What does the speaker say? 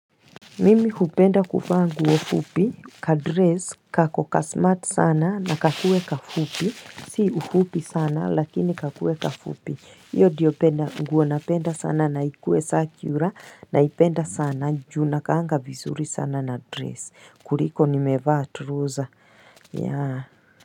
Mimi hupenda kuvaa nguo fupi, kadres, kako kasmart sana na kakue kafupi, si kafupi sana lakini kakue kafupi, iyo ndiopenda nguo napenda sana na ikue sakura naipenda sana na juu inakaanga vizuri sana na dress, kuriko nimevaa turoza, yaa.